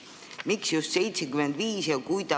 Miks just 75%?